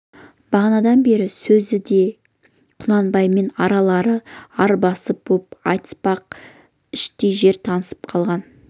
бағанадан бергі сөзде құнанбаймен аралары арбасып боп айтыспай-ақ іштей жер танысып қалған